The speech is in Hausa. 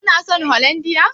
Kuna son holandiyar?